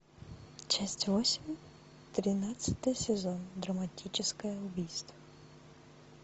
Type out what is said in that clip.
часть восемь тринадцатый сезон драматическое убийство